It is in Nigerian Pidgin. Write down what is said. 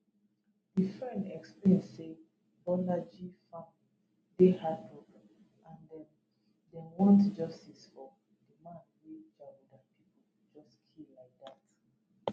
di friend explain say bolaji family dey heartbroken and dem dem want justice for di man wey jaguda pipo just kill like dat